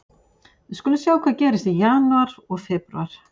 Við skulum sjá hvað gerist í janúar og febrúar.